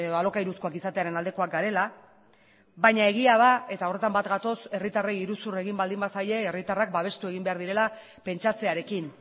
alokairuzkoak izatearen aldekoak garela baina egia da eta horretan bat gatoz herritarrei iruzur egin baldin bazaie herritarrak babestu egin behar direla pentsatzearekin